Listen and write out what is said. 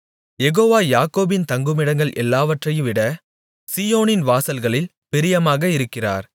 யெகோவா யாக்கோபின் தங்குமிடங்கள் எல்லாவற்றைவிட சீயோனின் வாசல்களில் பிரியமாக இருக்கிறார்